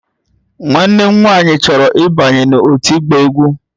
Nwanne m nwanyị chọrọ ịbanye n'òtù ịgba egwú